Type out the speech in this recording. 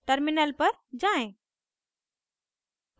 terminal पर जाएँ